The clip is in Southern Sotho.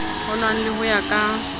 bonwang le ho ya ka